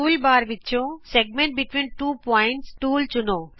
toolbar ਤੋਂ ਦੋ ਬਿੰਦੂਆਂ ਵਿਚ ਵ੍ਰਤ ਖੰਡ ਟੂਲ ਚੁਣੋ